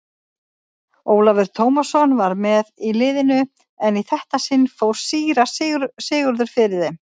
Ólafur Tómasson var með í liðinu en í þetta sinn fór síra Sigurður fyrir þeim.